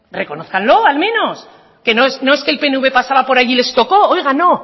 reconózcalo al menos que no es que el pnv pasaba por allí les tocó oiga no